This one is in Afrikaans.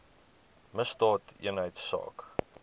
misdaadeenheidsaak